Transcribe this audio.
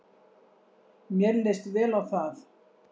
Mér leist vel á það.